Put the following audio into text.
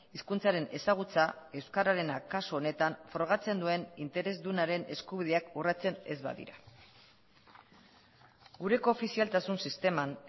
hizkuntzaren ezagutza euskararena kasu honetan frogatzen duen interesdunaren eskubideak urratsen ez badira gure koofizialtasun sisteman